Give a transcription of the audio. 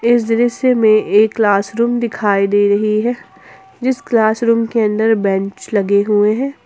इस दृश्य में एक क्लासरूम दिखाई दे रही है जिस क्लॉस रूम के अंदर बैंच लगी हुई है।